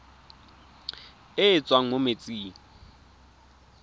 e e tswang mo metsing